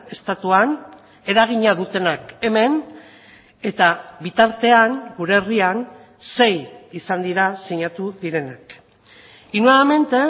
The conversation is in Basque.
estatuan eragina dutenak hemen eta bitartean gure herrian sei izan dira sinatu direnak y nuevamente